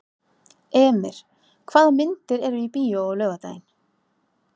Emir, hvaða myndir eru í bíó á laugardaginn?